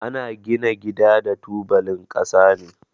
Ana gina gida da tubalin kasa ne.